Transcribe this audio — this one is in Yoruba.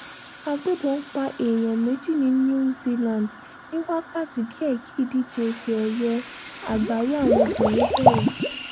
àgbébọn pa èèyàn méjì ní new zealand ní wákàtí díẹ̀ kí ìdíje ìfẹ́ ẹ̀yẹ àgbáyé àwọn obìnrin bẹ̀rẹ̀